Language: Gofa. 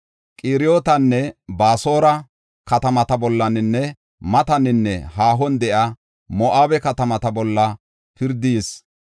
Qiriyootanne, Baasora katamata bollanne mataninne haahon de7iya Moo7abe katamata bolla pirdi yis.